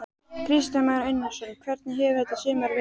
Kristján Már Unnarsson: Hvernig hefur þetta sumar verið?